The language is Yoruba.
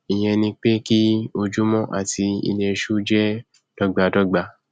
ìyẹn ni pé kí ojúmọ àti ilẹṣú jẹ dọgbadọgba